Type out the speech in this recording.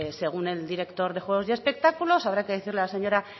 según el director de juegos y espectáculos habrá que decirle a la señora